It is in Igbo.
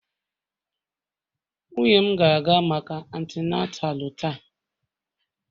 Nwunye m na-aga maka atinatalu taa.